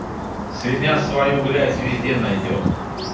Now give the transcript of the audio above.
свинья свою грязь везде найдёт